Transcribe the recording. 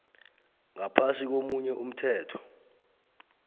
ngaphasi komunye umthetho